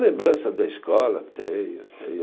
Lembrança da escola, tenho, tenho